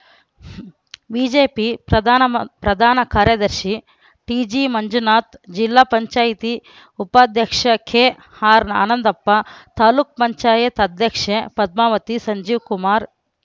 BJP ಪ್ರಧಾನ ಮ ಪ್ರಧಾನ ಕಾರ್ಯದರ್ಶಿ ಟಿಜಿ ಮಂಜುನಾಥ್‌ ಜಿಲ್ಲಾ ಪಂಚಾಯಿತಿ ಉಪಾಧ್ಯಕ್ಷ ಕೆಆರ್‌ ಆನಂದಪ್ಪ ತಾಲುಕ್ ಪಂಚಾಯತ್ ಅಧ್ಯಕ್ಷೆ ಪದ್ಮಾವತಿ ಸಂಜೀವ್‌ಕುಮಾರ್‌